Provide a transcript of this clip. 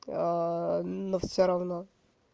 но все равно